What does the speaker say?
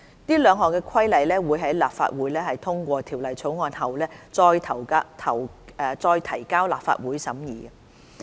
這兩項規例會在立法會通過《條例草案》後，再提交立法會審議。